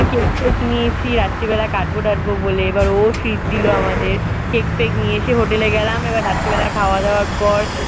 Cake-fake নিয়েছি রাত্রিবেলা কাটব-টাটবো বলে। এইবার ও treat দিলো আমাদের। কেক-ফেক নিয়ে এসে hotel এ গেলাম। এইবার রাত্রিবেলা খাওয়া-দাওয়ার পর